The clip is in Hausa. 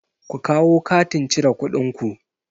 Ku kawo katin cire kuɗin ku!